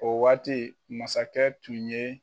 O waati masakɛ tun ye